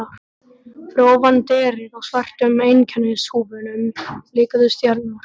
Fyrir ofan derið á svörtum einkennishúfunum blikuðu stjörnur.